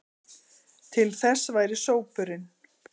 til þess væri sópurinn.